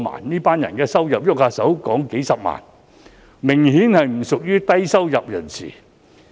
這群人的收入動輒數十萬元，明顯不屬於低收入人士。